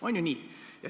On ju nii?